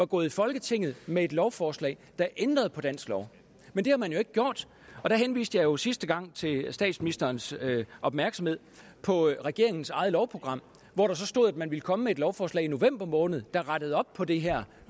gået i folketinget med et lovforslag der ændrede på dansk lov men det har man jo ikke gjort og der henviste jeg jo sidste gang statsministerens opmærksomhed på regeringens eget lovprogram hvor der stod at man ville komme med et lovforslag i november måned der rettede op på det her